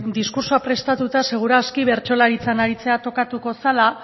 diskurtsoa prestatua seguru aski bertsolaritzan aritzea tokatuko zela